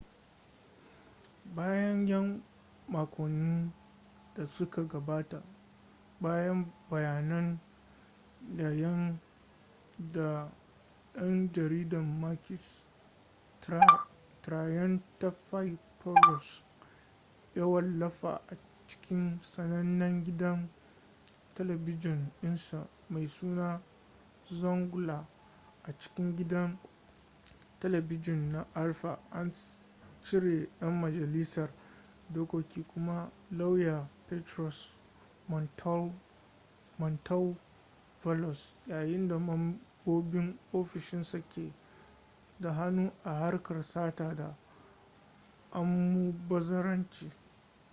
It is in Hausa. bayan 'yan makonnin da suka gabata bayan bayanan da dan jaridar makis triantafylopoulos ya wallafa a cikin sanannen gidan talabijin dinsa mai suna zoungla” a cikin gidan talabijin na alpha an cire dan majalisar dokoki kuma lauya petros mantouvalos yayin da mambobin ofishinsa ke da hannu a harkar sata da almubazzaranci.